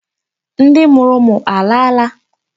Ndị mụrụ ụmụ alaala?